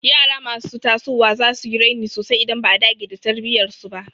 Yara masu tasowa za su yi raini sosai idan ba a dage da tarbiyyar su ba.